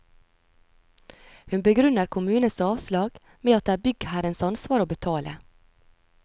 Hun begrunner kommunens avslag med at det er byggherrens ansvar å betale.